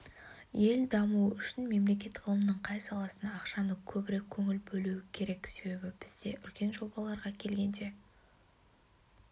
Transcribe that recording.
ел дамуы үшін мемлекет ғылымның қай саласына ақшаны көбірек бөлуі керек себебі бізде үлкен жобаларға келгенде